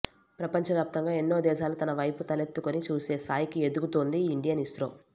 ప్రపంచ వ్యాప్తంగా ఎన్నో దేశాలు తన వైపు తలెత్తుకుని చూసే స్థాయికి ఎదుగుతోంది ఇండియన్ ఇస్రో